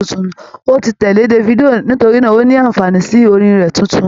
Ó ti tẹ̀lé Davido nítorínà ó ní ànfààní sí orin rẹ̀ tuntun.